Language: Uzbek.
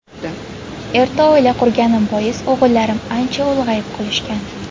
Erta oila qurganim bois o‘g‘illarim ancha ulg‘ayib qolishgan.